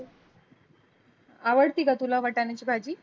आवडती का तुला वटाने ची भाजी?